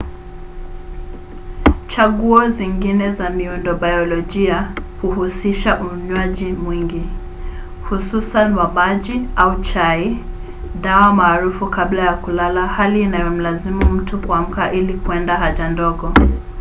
chaguo zingine za midundobayolojia huhusisha unywaji mwingi hususan wa maji au chai dawa maarufu kabla ya kulala hali inayomlazimu mtu kuamka ili kwenda haja ndogo